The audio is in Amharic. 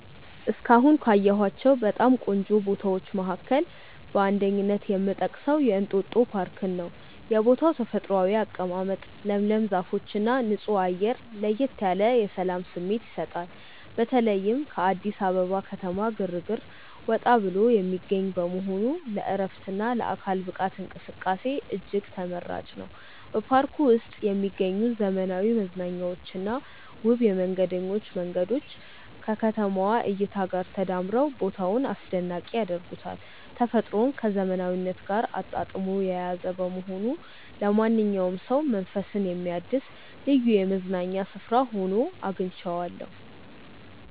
እስካሁን ካየኋቸው በጣም ቆንጆ ቦታዎች መካከል በአንደኝነት የምጠቀሰው የእንጦጦ ፓርክን ነው። የቦታው ተፈጥሯዊ አቀማመጥ፣ ለምለም ዛፎችና ንጹህ አየር ለየት ያለ የሰላም ስሜት ይሰጣል። በተለይም ከአዲስ አበባ ከተማ ግርግር ወጣ ብሎ የሚገኝ በመሆኑ ለዕረፍትና ለአካል ብቃት እንቅስቃሴ እጅግ ተመራጭ ነው። በፓርኩ ውስጥ የሚገኙት ዘመናዊ መዝናኛዎችና ውብ የመንገደኞች መንገዶች ከከተማዋ እይታ ጋር ተዳምረው ቦታውን አስደናቂ ያደርጉታል። ተፈጥሮን ከዘመናዊነት ጋር አጣጥሞ የያዘ በመሆኑ ለማንኛውም ሰው መንፈስን የሚያድስ ልዩ የመዝናኛ ስፍራ ሆኖ አግኝቼዋለሁ።